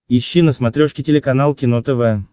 ищи на смотрешке телеканал кино тв